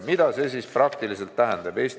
Mida see praktiliselt tähendab?